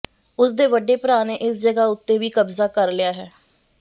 ਉਸ ਦੇ ਵੱਡੇ ਭਰਾ ਨੇ ਇਸ ਜਗ੍ਹਾ ਉੱਤੇ ਵੀ ਕਬਜ਼ਾ ਕਰ ਲਿਆ ਹੈ